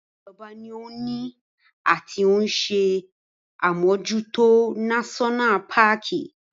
Ìjọba ni ó ni ati ni ó ń ṣe àmójútó náṣọ́nà paàkì